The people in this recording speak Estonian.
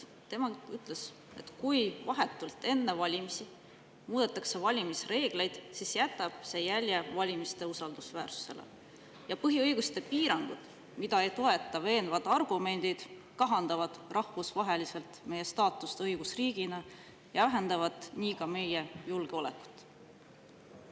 Ta ütles, et kui vahetult enne valimisi muudetakse valimisreegleid, siis jätab see jälje valimiste usaldusväärsusele, ja põhiõiguste piirangud, mida ei toeta veenvad argumendid, kahandavad rahvusvaheliselt meie staatust õigusriigina ja vähendavad nii ka meie julgeolekut.